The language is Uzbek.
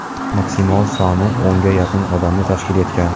maksimal soni o‘nga yaqin odamni tashkil etgan.